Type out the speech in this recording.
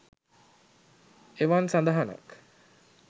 එවන් සදහනක්